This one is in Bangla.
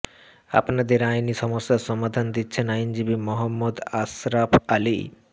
আপনাদের আইনি সমস্যার সমাধান দিচ্ছেন আইনজীবী মহম্মদ আসরাফ আলী